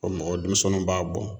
o mɔgɔ denmisɛnniw b'a bɔ.